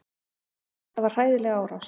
Þetta var hræðileg árás.